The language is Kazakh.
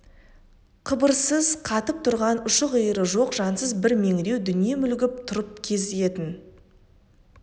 қыбырсыз қатып тұрған ұшы-қиыры жоқ жансыз бір меңіреу дүние мүлгіп тұрып кезігетін